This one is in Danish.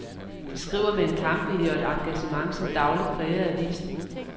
De skriver med en kampvilje og et engagement, som dagligt præger avisen.